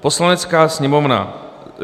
Poslanecká sněmovna